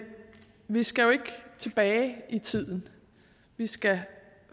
vi skal jo ikke tilbage i tiden vi skal